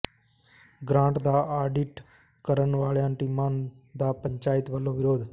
grant ਦਾ audit ਕਰਨ ਵਾਲੀਆਂ ਟੀਮਾਂ ਦਾ ਪੰਚਾਇਤਾਂ ਵੱਲੋਂ ਵਿਰੋਧ